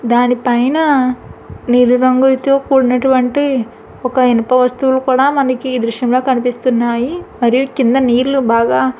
దాని పైన నీలి రంగులతో కూడినటువంటి ఒక ఇనప వస్తువు కూడా మనకి ఈ దృశ్యం లో కనిపిస్తున్నాయి మరియు కింద నీళ్లు బాగా.